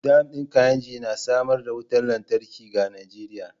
Dam din Kainji na samar da wutar lantarki ga Najeriya.